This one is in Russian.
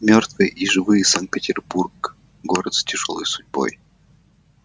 мёртвые и живые санкт-петербург город с тяжёлой судьбой